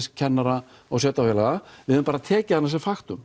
kennara og sveitarfélaga við höfum bara tekið henni sem